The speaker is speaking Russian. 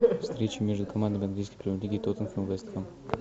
встреча между командами английской премьер лиги тоттенхэм вест хэм